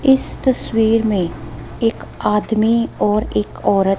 इस तस्वीर में एक आदमी और एक औरत--